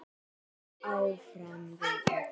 Áfram við öll.